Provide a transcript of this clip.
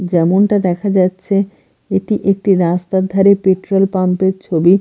যেমনটা দেখা যাচ্ছে এটি একটি রাস্তার ধারে পেট্রোল পাম্প -এর ছবি।